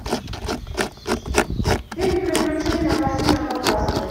фильм приключения алладина показывай